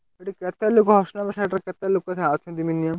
ସେଠି କେତେ ଲୋକ କେତେ ଲୋକ ଅଛନ୍ତି minimum ?